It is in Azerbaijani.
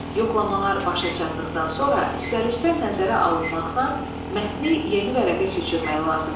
Yoxlamalar başa çatdıqdan sonra düzəlişlər nəzərə alınmaqla mətni yeni vərəqə köçürmək lazımdır.